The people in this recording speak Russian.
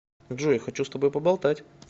джой хочу с тобой поболтать